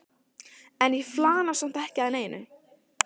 En ég flana samt ekki að neinu.